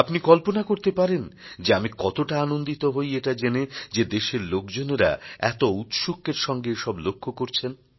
আপনি কল্পনা করতে পারেন যে আমি কতটা আনন্দিত হই এটা জেনে যে দেশের লোকজনেরা এত ঔৎসুক্যের সঙ্গে এসব লক্ষ করছেন